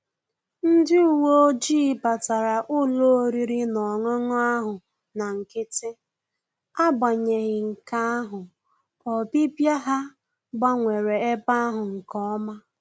Ndị uwe ojii batara ụlọ oriri na ọṅụṅụ ahụ na nkịtị, agbanyeghi nke ahụ, obibia ha gbanwere ebe ahụ nke ọma